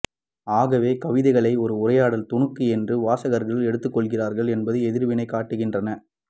ஆகவே கவிதைகளையும் ஓர் உரையாடல்துணுக்கு என்றே வாசகர்கள் எடுத்துக்கொள்கிறார்கள் என்பதை எதிர்வினைகள் காட்டுகின்றன